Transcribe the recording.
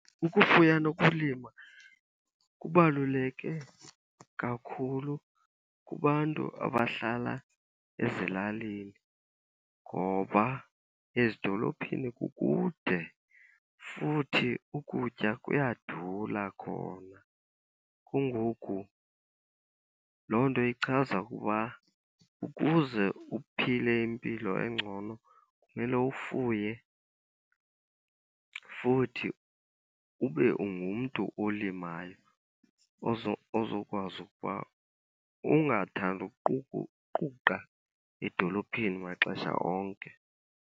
Ukufuya nokulima kubaluleke kakhulu kubantu abahlala ezilalini ngoba ezidolophini kukude futhi ukutya kuyadura khona. Kungoku loo nto ichaza ukuba ukuze uphile impilo engcono kumele ufuye, futhi ube ungumntu olimayo ozokwazi ukuba ungathandi uquqa edolophini maxesha onke.